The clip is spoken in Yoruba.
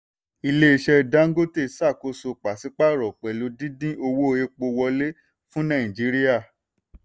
ilé-iṣẹ́ dangote ṣàkóso paṣípààrọ̀ pẹ̀lú dídín owó epo wọlé fún nàìjíríà.